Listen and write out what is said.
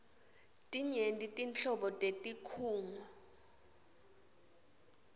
tinyenti nhlobo tetinkhunga